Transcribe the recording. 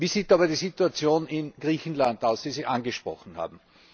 Wie sieht aber die Situation in Griechenland aus, die Sie angesprochen haben?